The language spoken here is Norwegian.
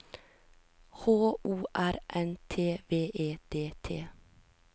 H O R N T V E D T